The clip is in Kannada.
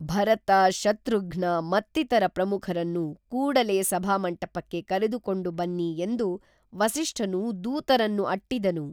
ಭರತ ಶತ್ರುಘ್ನ ಮತ್ತಿತರ ಪ್ರಮುಖರನ್ನು ಕೂಡಲೇ ಸಭಾ ಮಂಟಪಕ್ಕೆ ಕರೆದುಕೊಂಡು ಬನ್ನಿ ಎಂದು ವಸಿಷ್ಠನು ದೂತರನ್ನು ಅಟ್ಟಿದನು